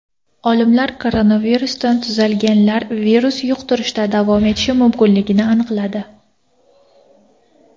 Olimlar koronavirusdan tuzalganlar virus yuqtirishda davom etishi mumkinligini aniqladi.